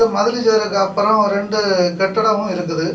மதுர ஜோரிர்கு அப்புறொ ரெண்டு கட்டிடமும் இருக்குது.